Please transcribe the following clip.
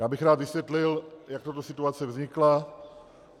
Já bych rád vysvětlil, jak tato situace vznikla.